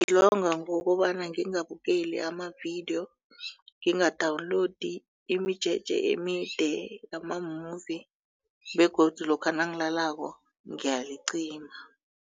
Ngilonga ngokobana ngingabukeli amavidiyo nginga-download imijeje emide yama-movie begodu lokha nangilalako ngiyalicima.